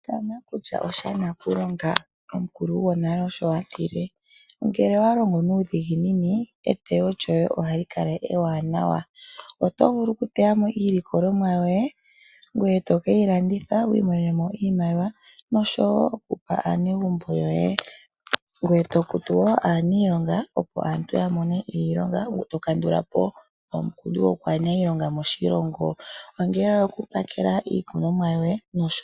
Sha nakulya osha nakulonga, omukulu gwonale osho atile. Ngele owa longo nuudhiginini eteyo lyoye ohali kala ewanawa, oto vulu oku teya mo iilikolomwa yoye ngoye to keyi landitha wu imonene mo iimaliwa yo kupa aanegumbo yoye. Ngweye to kutu wo aaniilonga opo aantu ya mone iilonga, to kandula po omukundu go kwaana iilonga moshilongo ongele oku pakela iikunomwa yoye nosho tuu.